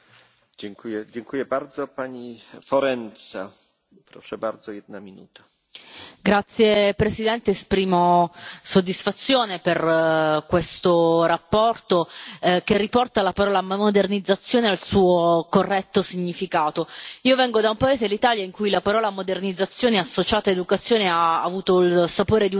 Signor Presidente, onorevoli colleghi, esprimo soddisfazione per questa relazione che riporta la parola modernizzazione al suo corretto significato. Io vengo da un paese, l'Italia, in cui la parola modernizzazione associata a educazione ha avuto il sapore di un incubo